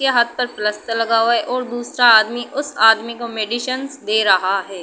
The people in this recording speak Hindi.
के हाथ पर प्लस्तर लगा हुआ है और दूसरा आदमी उस आदमी को मेडिसिंस दे रहा है।